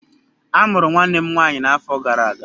A mụrụ nwanne m nwanyị n'afọ gara aga.